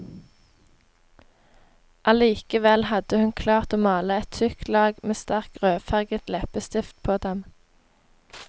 Allikevel hadde hun klart å male et tykt lag med sterk rødfarget leppestift på dem.